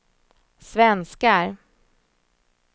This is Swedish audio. svenskar